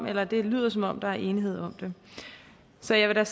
at det lyder som om der er enighed om det så jeg vil da